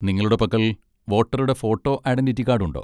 നിങ്ങളുടെ പക്കൽ വോട്ടറുടെ ഫോട്ടോ ഐഡന്റിറ്റി കാഡ് ഉണ്ടോ?